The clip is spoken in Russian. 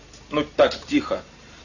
ну так тихо